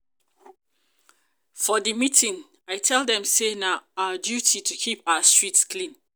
for di meeting um i tell dem um sey na our duty um to keep our street clean.